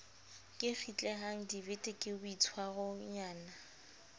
ke kgitlehang dibete ke boitshwaronyana